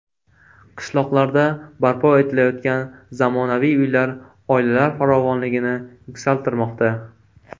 Qishloqlarda barpo etilayotgan zamonaviy uylar oilalar farovonligini yuksaltirmoqda.